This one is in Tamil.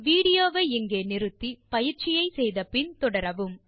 வீடியோ வை நிறுத்தி பயிற்சியை முடித்த பின் தொடரவும்